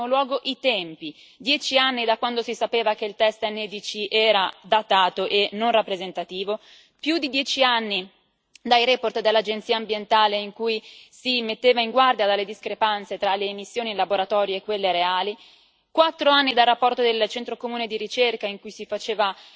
In primo luogo i tempi dieci anni da quando si sapeva che il test NEDC era datato e non rappresentativo, più di dieci anni dalle relazioni dell'agenzia ambientale in cui si metteva in guardia dalle discrepanze tra le emissioni in laboratorio e quelle reali, quattro anni dalla relazione del Centro comune di ricerca in cui si faceva